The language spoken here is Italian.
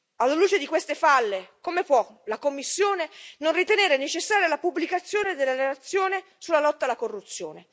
Alla luce di queste falle, come può la Commissione non ritenere necessaria la pubblicazione della relazione sulla lotta alla corruzione?